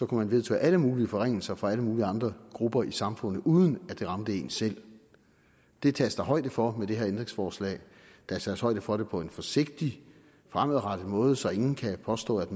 kunne vedtage alle mulige forringelser for alle mulige andre grupper i samfundet uden at det ramte en selv det tages der højde for med det her forslag der tages højde for det på en forsigtig fremadrettet måde så ingen kan påstå at